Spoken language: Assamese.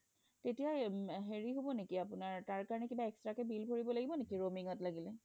তেতিয়া হেৰি হব নেকি আপোনাৰ extra কে bill ভৰিব লাগিব নেকি আপোনাৰ roaming ত লাগিলে